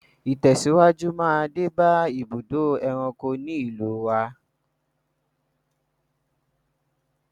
Ìtẹ̀síwájú máa dé bá ibùdó ẹranko ní ìlúu wa.